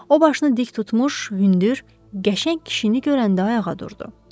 O başını dik tutmuş, hündür, qəşəng kişini görəndə ayağa durdu.